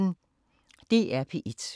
DR P1